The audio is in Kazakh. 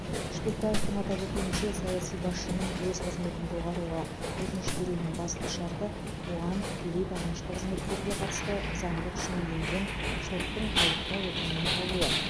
шпекбаевтың атап өтуінше саяси басшының өз қызметін доғаруға өтініш беруінің басты шарты оған тікелей бағынышты қызметкерге қатысты заңды күшіне енген соттың айыптау үкімінің болуы